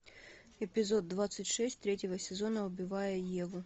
эпизод двадцать шесть третьего сезона убивая еву